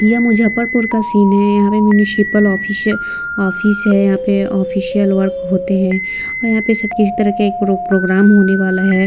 यह मुजफ्फरपुर का सीन है यहाँ पे म्युनिसिपल ऑफिस है ऑफिस है यहाँ पर ऑफिशियल वर्क होते हैं और यहाँ पर सब किसी तरह के एक प्रोग्राम होने वाला है।